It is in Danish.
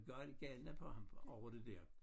Galt galene på ham over det der